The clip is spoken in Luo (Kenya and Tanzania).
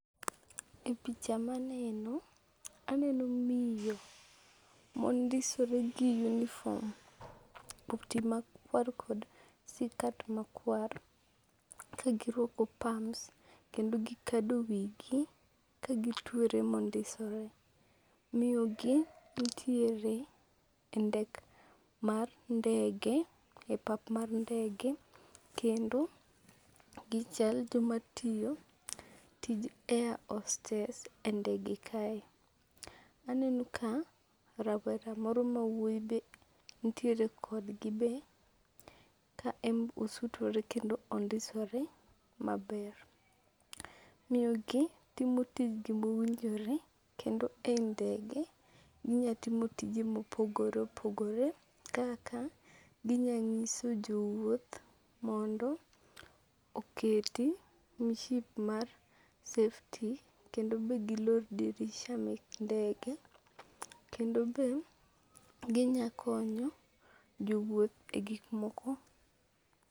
E picha maneno, aneno miyo mondisore gi unifom. Koti makuar kod sikat makuar kagiruako pams kendo gikado wigi kagituere mondisore. Miyo gi ntiere e ndek mar ndege e pap mar ndege kendo gichal joma tiyo tij air hostess e ndege kae. Aneno ka rawera moro mawuoyi be ntiere kodgi be. Ka en osutore kendo ondisore maber. Miyo gi timo tijgi mowinjore kendo e ndege inya timo tije mopogore opogore kaka ginya nyiso jowuoth mondo oketi mship mar safety kendo be gilor dirisha mek ndege. Kendo be ginya konyo jowuoth e gik moko.